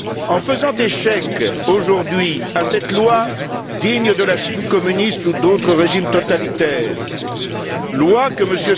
En faisant échec aujourd'hui à cette loi digne de la Chine communiste ou d'autres régimes totalitaires, loi que M.